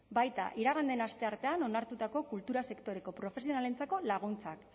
baita iragan den asteartean onartutako kultura sektoreko profesionalentzako laguntzak